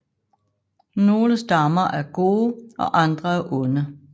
Nogle stammer er gode og andre er onde